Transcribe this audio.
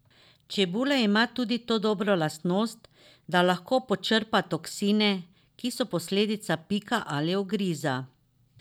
Čebula ima tudi to dobro lastnost, da lahko počrpa toksine, ki so posledica pika ali ugriza.